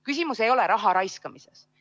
Küsimus ei ole raharaiskamises.